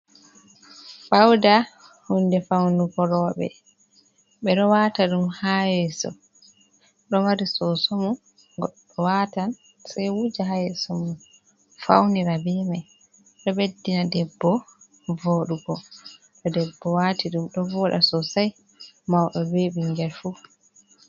Fauda hunde faunugo roɓe. Ɓeɗo wata ɗum ha yeso ɗo mari soso mun goɗɗo watan sei wuja haa yeeso mun faunira be mai. Ɗo ɓeddina debbo voɗugo to debbo wati ɗum ɗo voɗa sosai mauɗo be ɓingel fu.